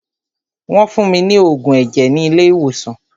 Wọ́n fún mí ní oògùn ẹ̀jẹ̀ ni ilé ìwòsàn.